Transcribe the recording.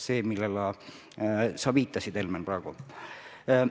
See on see, millele sa, Helmen, praegu viitasid.